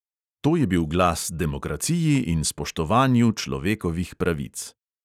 To je bil glas demokraciji in spoštovanju človekovih pravic.